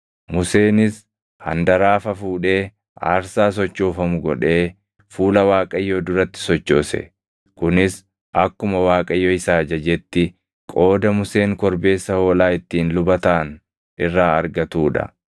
Museenis handaraafa fuudhee aarsaa sochoofamu godhee fuula Waaqayyoo duratti sochoose; kunis akkuma Waaqayyo isa ajajetti qooda Museen korbeessa hoolaa ittiin luba taʼan irraa argatuu dha.